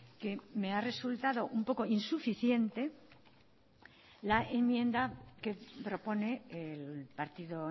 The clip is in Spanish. que me ha resultado un poco insuficiente la enmienda que propone el partido